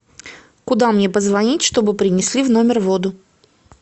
куда мне позвонить чтобы принесли в номер воду